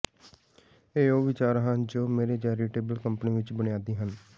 ਇਹ ਉਹ ਵਿਚਾਰ ਹਨ ਜੋ ਮੇਰੇ ਚੈਰੀਟੇਬਲ ਕੰਪਨੀ ਵਿਚ ਬੁਨਿਆਦੀ ਹਨ